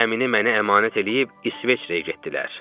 Gəmini mənə əmanət eləyib İsveçrəyə getdilər.